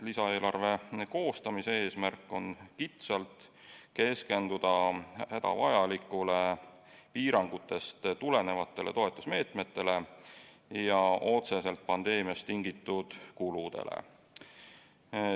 Lisaeelarve koostamise eesmärk on kitsalt keskenduda hädavajalikele piirangutest tulenevatele toetusmeetmetele ja otseselt pandeemiast tingitud kuludele.